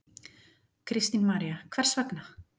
Kristín María: Hvers vegna?